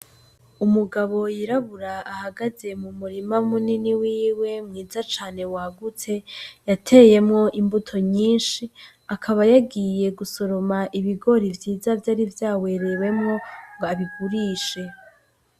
Umugabo yirabura ahagaze mu murima munini wiwe mwiza cane wagutse, yateyemwo imbuto nyinshi akaba yagiye gusoroma ibigori vyiza vyari vyawerewemwo ngo abigurishe.